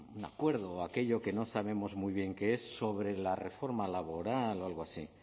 un acuerdo o aquello que no sabemos muy bien qué es sobre la reforma laboral o algo así